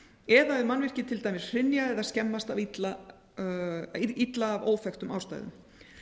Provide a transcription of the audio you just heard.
eða ef mannvirki til dæmis hrynja eða skemmast illa af óþekktum ástæðum